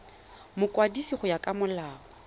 mokwadisi go ya ka molao